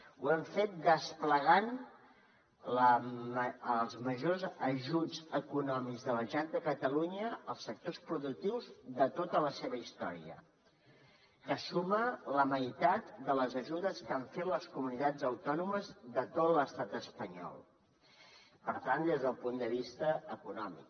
ho hem fet desplegant els majors ajuts econòmics de la generalitat de catalunya als sectors productius de tota la seva història que suma la meitat de les ajudes que han fet les comunitats autònomes de tot l’estat espanyol per tant des del punt de vista econòmic